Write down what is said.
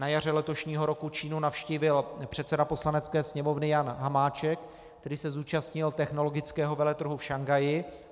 Na jaře letošního roku Čínu navštívil předseda Poslanecké sněmovny Jan Hamáček, který se zúčastnil technologického veletrhu v Šanghaji.